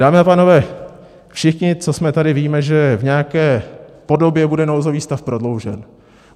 Dámy a pánové, všichni, co jsme tady, víme, že v nějaké podobě bude nouzový stav prodloužen.